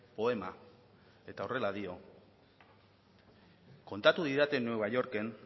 poema eta horrela dio kontatu didate nueva yorken